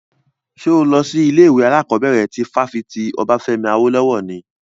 Ṣo lọ sí ilé ìwé alákọ̀bẹ̀rẹ̀ ti fáfitì Obafemi Awolowo ni?